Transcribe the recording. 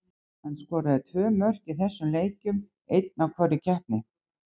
Hann skoraði tvö mörk í þessum leikjum, einn í hvorri keppni.